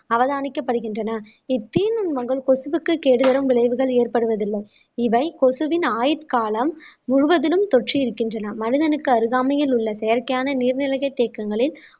அவதானிக்கப்படுகின்றன இத்தீநுண்மங்கள் கொசுவுக்கு கேடு பெரும் விளைவுகள் ஏற்படுவதில்லை இவை கொசுவின் ஆயுட்காலம் முழுவதிலும் தொற்றி இருக்கின்றன மனிதனுக்கு அருகாமையில் உள்ள செயற்கையான நீர்நிலைகள் தேக்கங்களில்